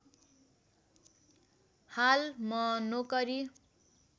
हाल म नोकरी